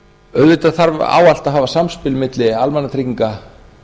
auðvitað þarf ávallt að hafa samspil milli almannatrygginga